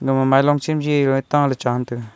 aga ma mailing chem je ae ta ley che ngan taega.